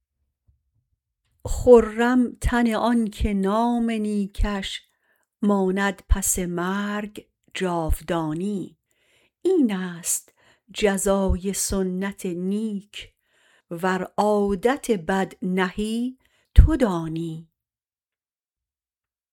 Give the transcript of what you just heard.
خرم تن آنکه نام نیکش ماند پس مرگ جاودانی اینست جزای سنت نیک ور عادت بد نهی تو دانی